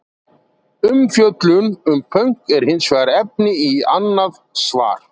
Umfjöllun um pönk er hins vegar efni í annað svar!